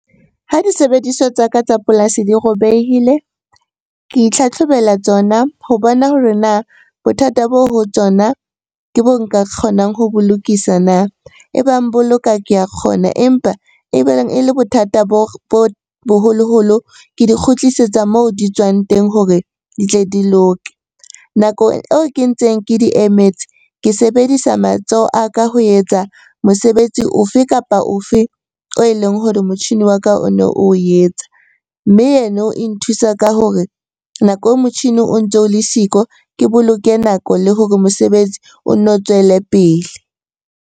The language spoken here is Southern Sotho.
Ha disebediswa tsa ka tsa polasi di robehile, ke itlhatlhobela tsona ho bona hore na bothata bo ho tsona ke bo nka kgonang ho bo lokisa na? E bang boloka ke a kgona, empa e bang e le bothata bo boholoholo ke di kgutlisetsa moo di tswang teng hore di tle di loke. Nakong eo ke ntseng ke di emetse, ke sebedisa matsoho a ka ho etsa mosebetsi o fe kapa o fe oe leng hore motjhini wa ka o ne oo etsa. Mme yeno e nthusa ka hore nako e motjhini o ntso o le siko, ke boloke nako le hore mosebetsi o nno o tswele pele.